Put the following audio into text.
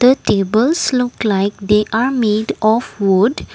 the tables look like they are made of wood.